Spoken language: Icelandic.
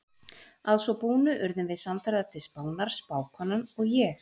Að svo búnu urðum við samferða til Spánar, spákonan og ég.